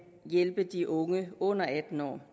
hjælpe de unge under atten år